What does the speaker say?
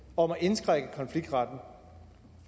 om at indskrænke konfliktretten